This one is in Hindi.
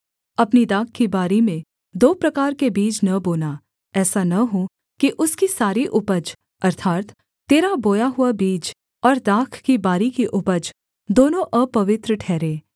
अपनी दाख की बारी में दो प्रकार के बीज न बोना ऐसा न हो कि उसकी सारी उपज अर्थात् तेरा बोया हुआ बीज और दाख की बारी की उपज दोनों अपवित्र ठहरें